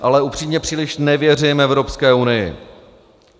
Ale upřímně, příliš nevěřím Evropské unii.